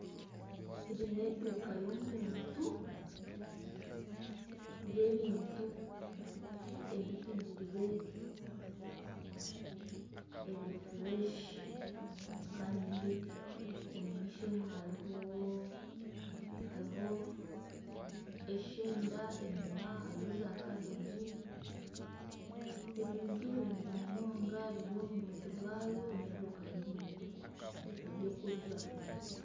Egi n'eduuka y'omuntu, y'ebintu ebihingirwe ebiri fureshi kandi omu maisho omwe hariho eshenda enyuma hariyo zakabegi ebintu birungi munonga biri omu buntu bwayo n'eduuka y'ebintu by'okurya.